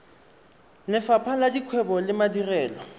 lefapha la dikgwebo le madirelo